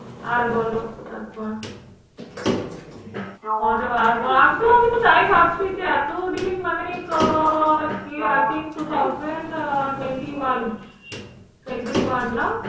আর বলো তারপর। আমি তো আমি তো তাই ভাবছি যে এতদিন মানে আহ I think two thousand twenty one twenty one না?